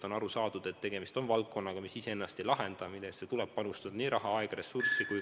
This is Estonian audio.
On aru saadud, et tegemist on valdkonnaga, mis ise ennast ei lahenda ja millesse tuleb panustada nii raha, aega kui ka muid ressursse.